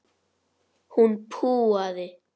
Hún púaði.